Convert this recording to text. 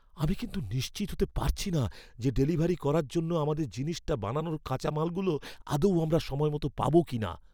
আমি কিন্তু নিশ্চিত হতে পারছি না যে ডেলিভারি করার জন্য আমাদের জিনিসটা বানানোর কাঁচা মালগুলো আদৌ আমরা সময়মতো পাবো কিনা।